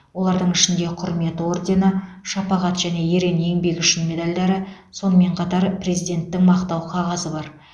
олардың ішінде құрмет ордені шапағат және ерен еңбегі үшін медальдары сонымен қатар президенттің мақтау қағазы бар